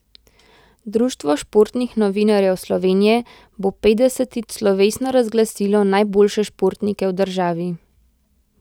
Društvo športnih novinarjev Slovenije bo petdesetič slovesno razglasilo najboljše športnike v državi.